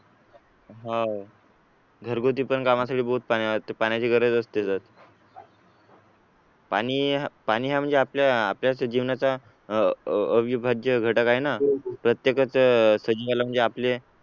हो घरगुती पण कामासाठी बहुत पाण्याची गरज असते पाणी पाणी हा म्हणजे आपल्या आपल्या जीवनाचा अ अविभाज्य घटक आहे ना प्रत्येकाचे सजीवाला म्हणजे आपल्या